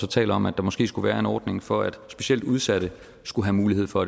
taler om at der måske skulle være en ordning for at specielt udsatte skulle have mulighed for